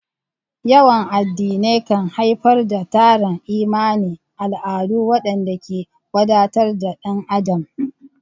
Yawan addinai kan haifar da tarin imani, al'adu, waɗanda ke wadatar da ɗan adam.